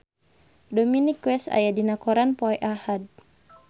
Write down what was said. Dominic West aya dina koran poe Ahad